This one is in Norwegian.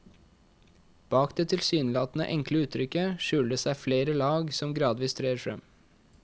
Bak det tilsynelatende enkle uttrykket skjuler det seg flere lag som gradvis trer frem.